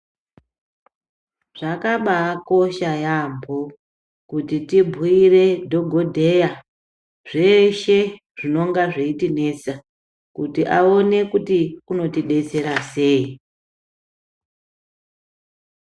Zvakabaakosha yaamho kuti tibhuire dhokodheya zveshe zvinonga zveitinesa kuti aone kuti unotidetsera sei.